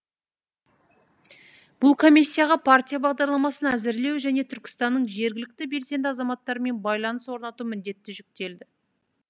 бұл комиссияға партия бағдарламасын әзірлеу және түркістанның жергілікті белсенді азаматтарымен байланыс орнату міндеті жүктелді